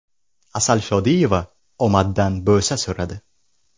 Asal Shodiyeva omaddan bo‘sa so‘radi.